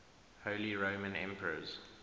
holy roman emperors